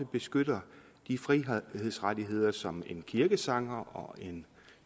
beskytter de frihedsrettigheder som en kirkesanger og en